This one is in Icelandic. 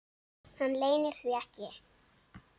Hann leynir því ekki.